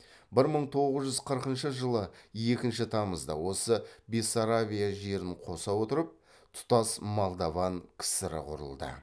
бір мың тоғыз жүз қырқыншы жылы екінші тамызда осы бессарабия жерін қоса отырып тұтас молдован кср і құрылды